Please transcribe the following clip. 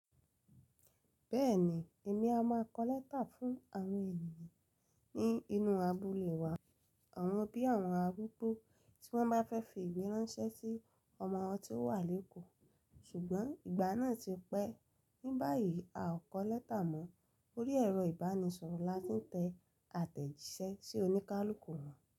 Bẹ́ẹ̀ni, èmi a máa kọ lẹ́tà fún àwọn ènìyàn ní inú abúlé wa, àwọn bí àwọn arúgbó tí wọ́n bá fẹ́ fi ìwé ránṣẹ́ sí ọmọ wọn tí ó wà lékòó. Ṣùgbọ́n ìgbà náà ti pẹ́. Ní báyìí a ò kọ lẹ́tà mọ́. Orí ẹ̀rọ ìbánisọ̀rọ̀ la ti n tẹ àtẹ̀jíṣẹ́ sí oníkálukú wọn.